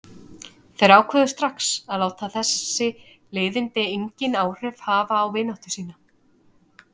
Þeir ákváðu strax að láta þessi leiðindi engin áhrif hafa á vináttu sína.